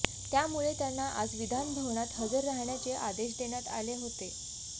त्यामुळे त्यांना आज विधानभवनात हजर राहण्याचे आदेश देण्यात आले होते